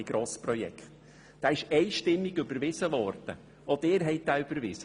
Diese Motion wurde einstimmig überweisen, auch von Ihnen seitens der BDP.